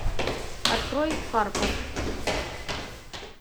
открой карпов